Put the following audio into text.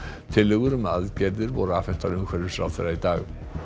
tillögur um aðgerðir voru afhentar umhverfisráðherra í dag